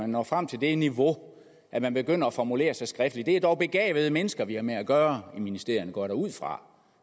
når frem til det niveau at man begynder at formulere sig skriftligt det er dog begavede mennesker vi har med at gøre i ministerierne går jeg da ud fra